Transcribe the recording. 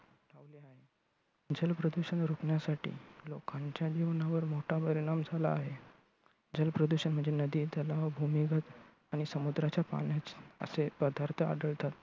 जल प्रदूषण रोखण्यासाठी लोकांच्या जीवनावर मोठा परिणाम झाला आहे. जल प्रदूषण म्हणजे नदी, तलाव, भूमिगत आणि समुद्राच्या पाण्याचे असे प्रकार आढळतात.